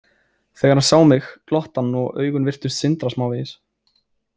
Þegar hann sá mig glotti hann og augun virtust sindra smávegis.